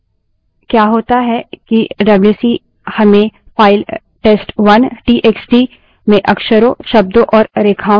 क्या होता है कि डब्ल्यूसी हमें फाइल test1 टीएक्सटी में अक्षरों शब्दों और रेखाओं की संख्या बतायेगा